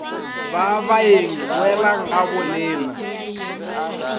ba baeng boelang ga gabolena